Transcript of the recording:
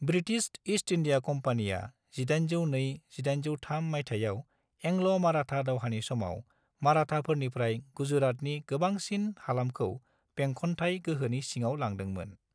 British East India कम्पानीया 1802-1803 मायथाइयाव एंल'-माराठा दावहानि समाव माराठाफोरनिफ्राय गुजरातनि गोबांसिन हालामखौ बेंखनथाय गोहोनि सिङाव लांदोंमोन।